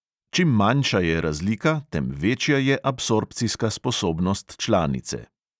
Čim manjša je razlika, tem večja je absorpcijska sposobnost članice.